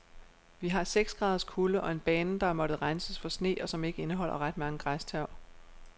Vi har seks graders kulde og en bane, der har måttet renses for sne og som ikke indeholder ret mange græstørv.